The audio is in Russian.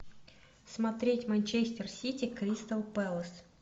смотреть манчестер сити кристал пэлас